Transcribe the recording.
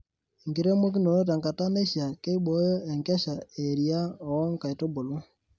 Enkiremokinoto tenkata naishia keiboyo enkesha eria wo nkaitubulu.